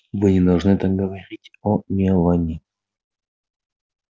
вы не должны так говорить о мелани